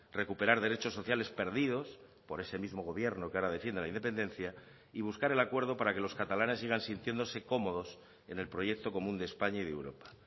recuperar derechos sociales perdidos por ese mismo gobierno que ahora defiende la independencia y buscar el acuerdo para que los catalanes sigan sintiéndose cómodos en el proyecto común de españa y de europa